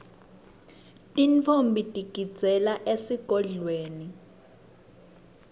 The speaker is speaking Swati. tintfombi tigidzela esigodlweni